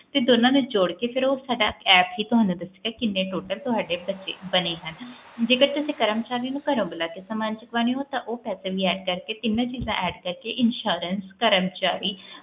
ਤੇ ਦੋਨਾਂ ਨੂੰ ਜੋੜ ਕੇ ਫੇਰ ਸਾਡਾ app ਹੀ ਤੁਹਾਨੂੰ ਕਰਕੇ ਦੱਸੇਗਾ ਕਿੰਨੇ ਤੁਹਾਡੇ ਬਣੇ ਹਨ ਜੇ ਤੁਸਿ ਕਰਮਚਾਰੀ ਨੂੰ ਘਰ ਬੁਲਾ ਕੇ ਸਮਾਂ ਚਕਵਾਉਣੇ ਹੋ ਤਾ ਉਹ ਪੈਸੇ insurance ਵੀ ਕਰਕੇ ਤਿੰਨ ਚੀਜ਼ਾਂ add ਕਰਕੇ ਕਰਮਚਾਰੀ